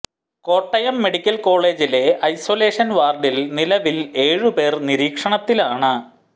Kottayam medical കോളേജിലെ isolation വാർഡിൽ നിലവിൽ ഏഴ് പേർ നിരീക്ഷണത്തിലാണ്